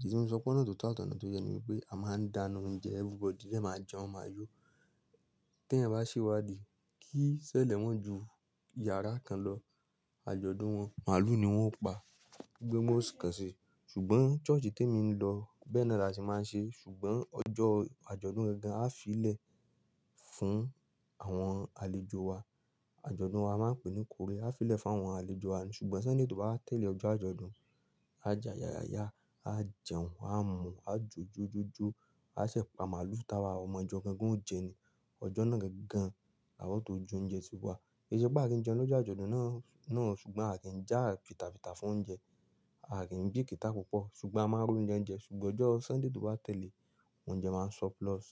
Id tí mò fi sọ pé ọ̀nà tó tọ́ àti ọ̀nà tó yẹ ni pé a máa ń dáná oúnjẹ everybody dè máa jẹun, máa yó. Tí èèyàn bá ṣewádìí kí sẹ́lẹ̀ ma ju yàrá kan lọ, àjọ̀dún wọn màálù ni wọ́n ó pa, gbígbé mú ọ̀sẹ̀ kan sí. Ṣùgbọ́n church tí èmi lọ bẹ́ẹ̀ náà ni a ti máa ń ṣe. Ṣùgbọ́n ọjọ́ àjọ̀dún gangan a fi lè fún àwọn àlejò wa. Àjọ̀dún wa a máa ń pè ní ikórè. A fi lè fún àwọn àlejò wa ni. Ṣùgbọ́n Sunday tó bá tẹ̀lé ọjọ́ àjọ̀dún, a jẹ àyàya ya, a jẹun, a mu, a jó jó jó jó, a ṣẹ̀pa màálù tawa ọmọ ìjọ gangan ó jẹ ni. Ọjọ́ náà gangan làwa o tó jó oúnjẹ tíwa. Kì í ṣe pé a kì í jẹun lọ́jọ́ àjọ̀dún náà o, náà, ṣùgbọ́n a kì í jẹ́ àpìtàpìtà fún oúnjẹ. A à kìn bìkíta púpọ̀, ṣùgbọ́n a máa rún oúnjẹ ń jẹ. Ṣùgbọ́n ọjọ́ Sunday tó bá tẹ̀lé, oúnjẹ máa ń surplus.